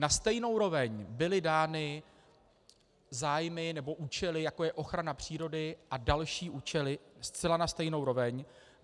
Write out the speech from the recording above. Na stejnou roveň byly dány zájmy nebo účely, jako je ochrana přírody a další účely, zcela na stejnou roveň.